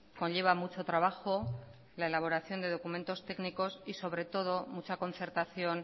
conlleva mucho trabajo la elaboración de documentos técnicos y sobre todo mucha concertación